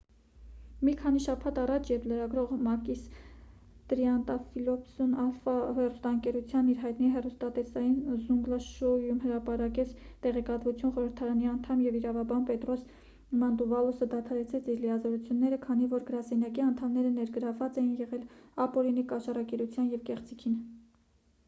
մի քանի շաբաթ առաջ երբ լրագրող մակիս տրիանտաֆիլոպուլոսն ալֆա հեռուստաընկերության իր հայտնի հեռուստատեսային զունգլա շոույում հրապարակեց տեղեկատվությունը խորհրդարանի անդամ և իրավաբան պետրոս մանտուվալոսը դադարեցրեց իր լիազորությունները քանի որ իր գրասենյակի անդամները ներգրավված էին եղել ապօրինի կաշառակերությանը և կեղծիքին